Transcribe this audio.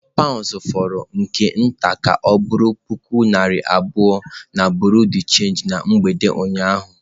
Pound fọrọ nke nta ka ọ bụrụ puku naira abụọ na bureau de change na mgbede ụnyaahụ.